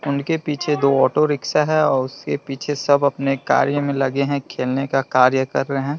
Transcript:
उनके पीछे दो ऑटो रिक्शा हैं और उसके पीछे सब अपने कार्य में लगे हैं खेलने का कार्य कर रहे ।